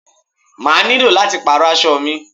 I will have to change my clothes